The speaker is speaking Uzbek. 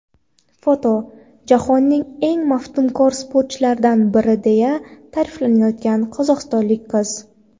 Foto: Jahonning eng maftunkor sportchilaridan biri deya ta’riflanayotgan qozog‘istonlik qiz.